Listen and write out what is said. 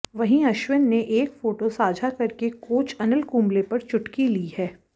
वहीं अश्विन ने एक फोटो साझा करके कोच अनिल कुंबले पर चुटकी ली है